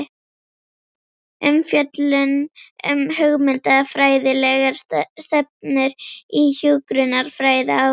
Umfjöllun um hugmyndafræðilegar stefnur í hjúkrunarfræði á